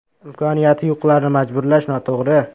“Imkoniyati yo‘qlarni majburlash noto‘g‘ri”.